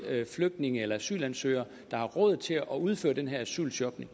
flygtninge eller asylansøgere der har råd til at udføre den her asylshopping